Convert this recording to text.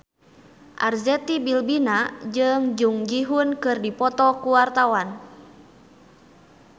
Arzetti Bilbina jeung Jung Ji Hoon keur dipoto ku wartawan